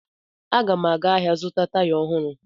Aga m aga ahịa zụta taya ohụrụ